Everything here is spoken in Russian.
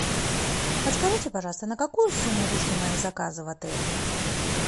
подскажите пожалуйста на какую сумму вышли мои заказы в отеле